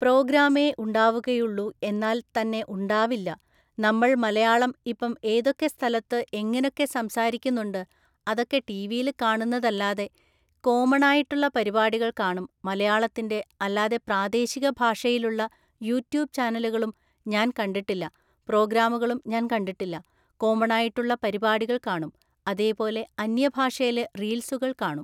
പ്രോഗ്രാമേ ഉണ്ടാവുകയുള്ളു എന്നാൽ തന്നെ ഉണ്ടാവില്ല നമ്മൾ മലയാളം ഇപ്പം ഏതൊക്കെ സ്ഥലത്ത് എങ്ങനൊക്കെ സംസാരിക്കന്നുണ്ട് അതൊക്കെ ടീവീല് കാണുന്നല്ലാതെ കോമണായിട്ടുള്ള പരിപാടികൾ കാണും മലയാളത്തിൻ്റെ അല്ലാതെ പ്രാദേശികഭാഷയിലുള്ള യുട്യൂബ് ചാനലുകളും ഞാൻ കണ്ടിട്ടില്ല പ്രോഗ്രാമുകളും ഞാൻ കണ്ടിട്ടില്ല കോമണായിട്ടുള്ള പരിപാടികൾ കാണും അതേപോലെ അന്യഭാഷേലെ റീൽസുകൾ കാണും